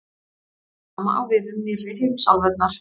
það sama á við um „nýrri“ heimsálfurnar